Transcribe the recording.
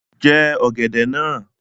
Jẹ ọ̀gẹ̀dẹ̀ náà!